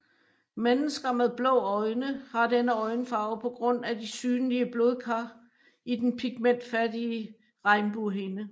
Mennesker med blå øjne har denne øjenfarve på grund af de synlige blodkar i den pigmentfattige regnbuehinde